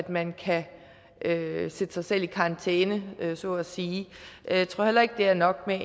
man kan sætte sig selv i karantæne så at sige jeg tror heller ikke det er nok med